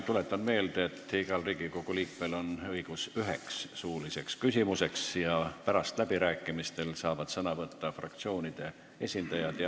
Tuletan meelde, et igal Riigikogu liikmel on õigus esitada üks suuline küsimus ja pärast läbirääkimistel saavad sõna võtta fraktsioonide esindajad.